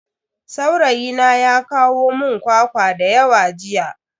Saurayina ya kawo mun kwakwa dayawa jiya.